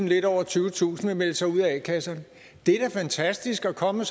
lidt over tyvetusind vil melde sig ud af a kasserne det er da fantastisk at komme